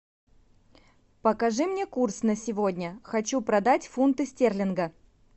покажи мне курс на сегодня хочу продать фунты стерлинга